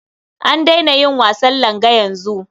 An daina yin wasan langa yanzu.